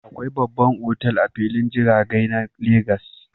Akwai babban otal a filin jiragai na legas